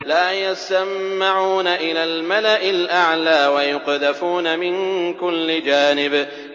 لَّا يَسَّمَّعُونَ إِلَى الْمَلَإِ الْأَعْلَىٰ وَيُقْذَفُونَ مِن كُلِّ جَانِبٍ